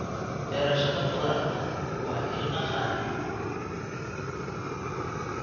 Beerashada khudaarta waa il dhaqaale.